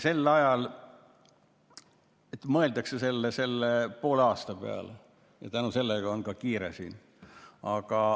Sel ajal mõeldakse selle poole aasta peale ja sellega on kiire.